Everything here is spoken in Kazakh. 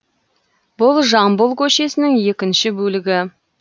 бұл жамбыл көшесінің екінші бөлігі